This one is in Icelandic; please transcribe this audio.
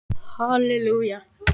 Ef ég byrja ekki á réttum tíma.